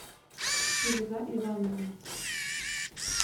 фируза ивановна